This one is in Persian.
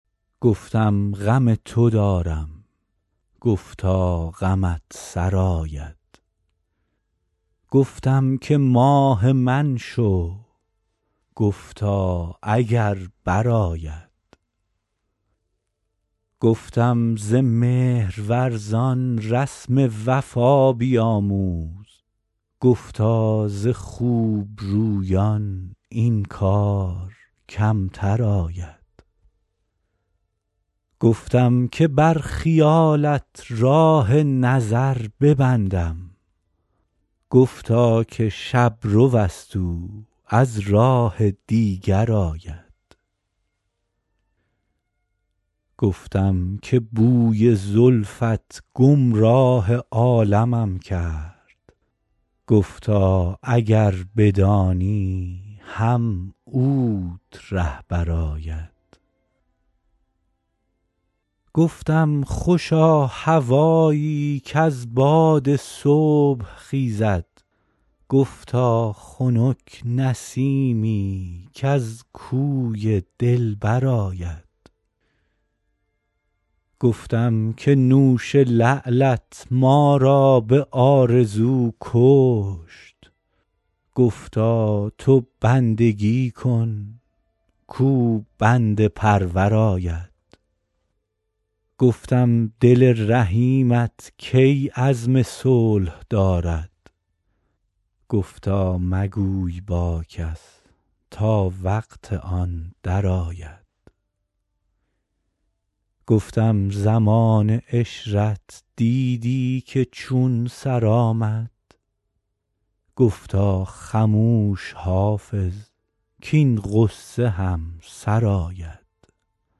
گفتم غم تو دارم گفتا غمت سرآید گفتم که ماه من شو گفتا اگر برآید گفتم ز مهرورزان رسم وفا بیاموز گفتا ز خوب رویان این کار کمتر آید گفتم که بر خیالت راه نظر ببندم گفتا که شب رو است او از راه دیگر آید گفتم که بوی زلفت گمراه عالمم کرد گفتا اگر بدانی هم اوت رهبر آید گفتم خوشا هوایی کز باد صبح خیزد گفتا خنک نسیمی کز کوی دلبر آید گفتم که نوش لعلت ما را به آرزو کشت گفتا تو بندگی کن کاو بنده پرور آید گفتم دل رحیمت کی عزم صلح دارد گفتا مگوی با کس تا وقت آن درآید گفتم زمان عشرت دیدی که چون سر آمد گفتا خموش حافظ کـاین غصه هم سر آید